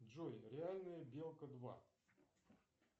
джой реальная белка два